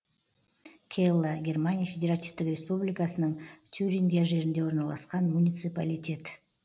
келла германия федеративтік республикасының тюрингия жерінде орналасқан муниципалитет